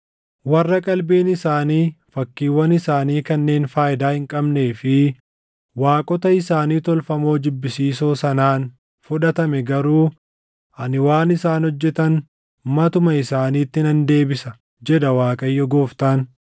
Warra qalbiin isaanii fakkiiwwan isaanii kanneen faayidaa hin qabnee fi waaqota isaanii tolfamoo jibbisiisoo sanaan fudhatame garuu ani waan isaan hojjetan matuma isaaniitti nan deebisa jedha Waaqayyo Gooftaan.”